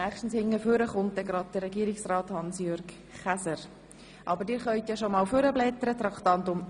Ich denke, Regierungsrat HansJürg Käser wird jeden Moment erscheinen.